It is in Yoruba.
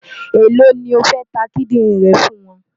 Èló ni o fẹ́ ta kídìrìn rẹ fún wọn?